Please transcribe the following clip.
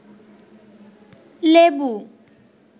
লেবু